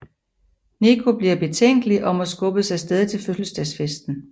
Nico bliver betænkelig og må skubbes af sted til fødselsdagsfesten